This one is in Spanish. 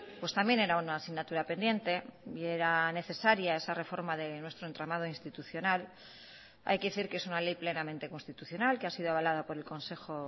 pues también era una asignatura pendiente y era necesaria esa reforma de nuestro entramado institucional hay que decir que es una ley plenamente constitucional que ha sido avalada por el consejo